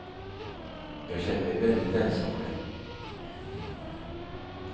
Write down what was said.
Jag kände mig väldigt ensam själv.